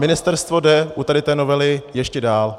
Ministerstvo jde u tady té novely ještě dál.